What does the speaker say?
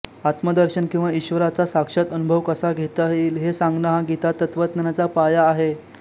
आत्मदर्शन किंवा ईश्वराचा साक्षात अनुभव कसा घेता येईल हे सांगणं हा गीतातत्त्वज्ञानाचा पाया आहे